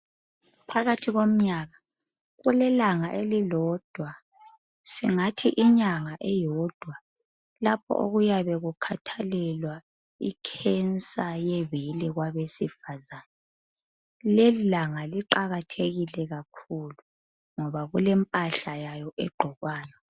Phakathi komnyaka kule langa elilodwa, singathi inyanga eyodwa lapho okuyabe kukhathalelwa i"cancer"yebele kwabesifazane, lelilanga liqakathekile kakhulu ngoba kulempahla yayo egqokwayo.